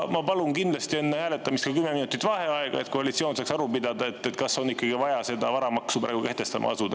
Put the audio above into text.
Ma palun kindlasti enne hääletamist kümme minutit vaheaega, et koalitsioon saaks aru pidada, kas on ikkagi vaja asuda praegu seda varamaksu kehtestama.